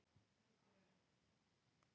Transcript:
Hvernig lifir hlébarði?